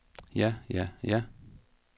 ja ja ja